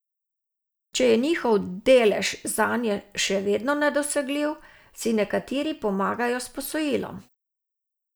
Če je njihov delež zanje še vedno nedosegljiv, si nekateri pomagajo s posojilom.